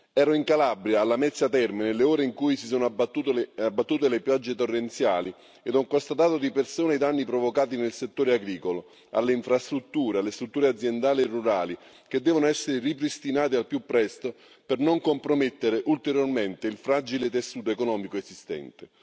Ero in Calabria, a Lamezia Terme, nelle ore in cui si sono abbattute le piogge torrenziali e ho constatato di persona i danni provocati nel settore agricolo, alle infrastrutture, alle strutture aziendali e rurali che devono essere ripristinate al più presto per non compromettere ulteriormente il fragile tessuto economico esistente.